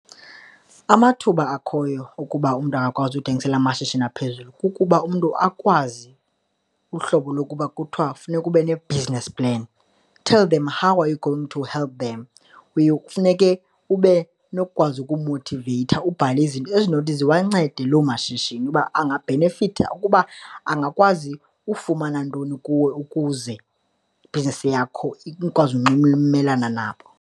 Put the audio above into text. Amathuba akhoyo ukuba umntu angakwazi uthengisele amashishini aphezulu kukuba umntu akwazi uhlobo lokuba kuthiwa funeka ube ne-business plan, tell them how are you going to help them. Kuye kufuneke ube nokukwazi ukumothiveyitha, ubhale izinto ezinothi ziwancede loo mashishini uba angabhenefitha ukuba angakwazi ufumana ntoni kuwe ukuze ibhizinisi yakho ikwazi unxulumelana nabo.